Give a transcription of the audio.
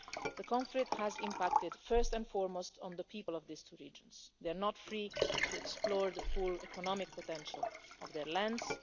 The conflict has impacted first and foremost on the people of these two regions. They're not free to explore the full economic potential of their lands